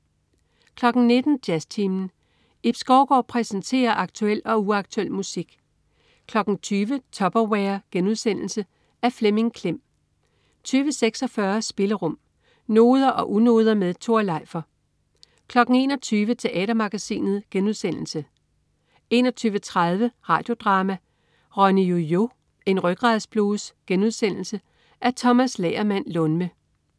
19.00 Jazztimen. Ib Skovgaard præsenterer aktuel og uaktuel musik 20.00 Tupperware.* Af Flemming Klem 20.46 Spillerum. Noder og unoder med Tore Leifer 21.00 Teatermagasinet* 21.30 Radio Drama: Ronny-Yo-Yo, en rygradsblues.* Af Tomas Lagermand Lundme